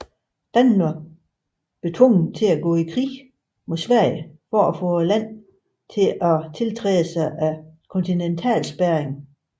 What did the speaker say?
Danmark blev tvunget til at gå ind i krigen mod Sverige for at få landet til at tiltræde Kontinentalspærringen